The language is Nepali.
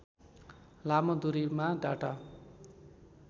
लामो दूरीमा डाटा